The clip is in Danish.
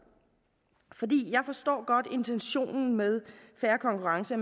jeg forstår godt intentionen med fair konkurrence